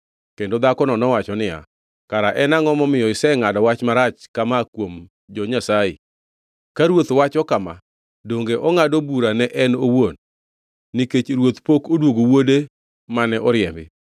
Kendo dhakono nowacho niya, “Kara en angʼo momiyo isengʼado wach marach kama kuom jo-Nyasaye? Ka ruoth wacho kama, donge ongʼado bura ne en owuon, nikech ruoth pok odwogo wuode mane oriembi.